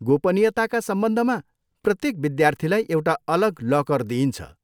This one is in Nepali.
गोपनीयताका सम्बन्धमा, प्रत्येक विद्यार्थीलाई एउटा अलग लकर दिइन्छ।